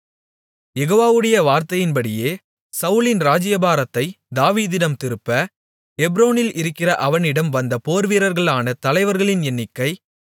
யெகோவாவுடைய வார்த்தையின்படியே சவுலின் ராஜ்ஜியபாரத்தைத் தாவீதிடம் திருப்ப எப்ரோனில் இருக்கிற அவனிடம் வந்த போர்வீரர்களான தலைவர்களின் எண்ணிக்கை